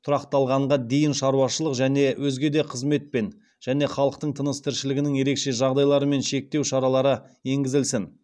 тұрақталғанға дейін шаруашылық және өзге де қызметпен және халықтың тыныс тіршілігінің ерекше жағдайларымен шектеу шаралары енгізілсін